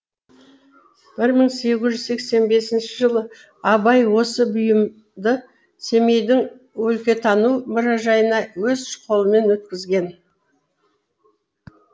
бір мың сегіз жүз сексен бесінші жылы абай осы екі бұйымды семейдің өлкетану мұражайына өз қолымен өткізген